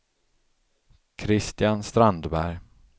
Kristian Strandberg